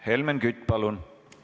Helmen Kütt, palun!